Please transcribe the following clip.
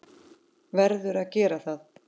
Verður að gera það.